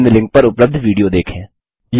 निम्न लिंक पर उपलब्ध विडियो देखें